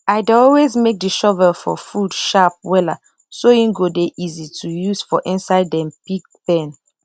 i dey always make the shovel for food sharp wella so e go dey easy to use for inside dem pig pen